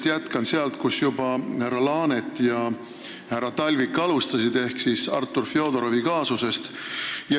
Ma jätkan sisuliselt sealt, kust härra Laanet ja härra Talvik juba alustasid, ehk Artur Fjodorovi kaasusest.